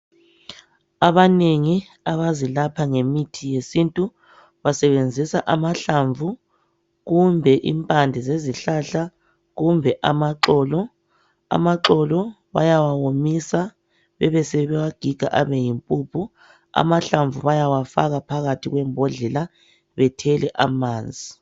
Abanengi abazilapha ngemithi yesintu, basebenzisa amahlamvu, kumbe impande zezihlahla, kumbe amaxolo. Amaxolo bayawa womisa besebebewagiga abe yimpuphu, amahlamvu bayawafaka phakathi kwembodlela bethele amanzi.